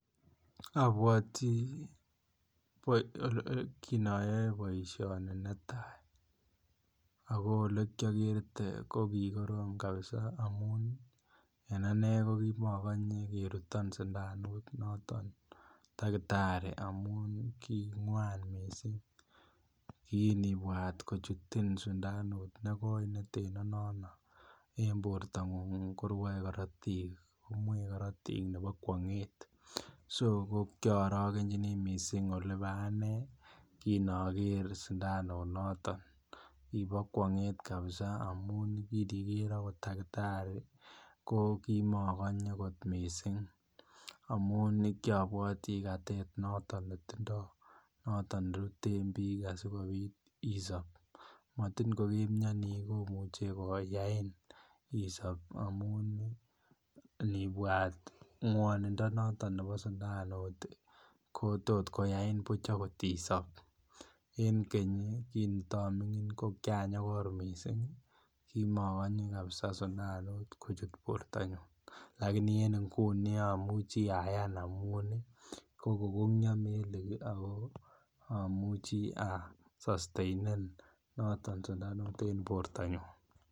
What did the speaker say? Abwoti boi kin ayoe boisioini neta ago olekiagerte ko kikorom kapisa amun en anne ko kimokonye keruton sindanut noton takitari amun kingwan mising. Kinibwat kochutin sindanut nekoi neteno nono en bortangung, korwoe korotik. Komwei korotik nebo kwonget soko kiarogenjini mising olebo anne kin ager sindanunoton. Kibo ngwanget mising amun kiniger agot takitari kokimokonye kot mising amun kiabwati katet noton netindo noton kiruten biik asigopit isop. Matin ko kemiani komuche koyain isop amun inibwat ngwonindo notobo sundanut ko totkoyain buch agot isop. En keny kinitamingin ko kianyokor mising. Kimokonye kapisa sindanut kochut bortonyun. Laini en inguni amuchi ayan amun kokokongyio melik ago amuchi asosteinen noton sindanut en bortanyun.